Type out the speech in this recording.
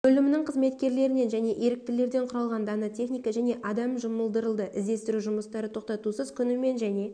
бөлімінің қызметкерлерінен және еріктілерден құралған дана техника және адам жұмылдырылды іздестіру жұмыстары тоқтатусыз күнімен және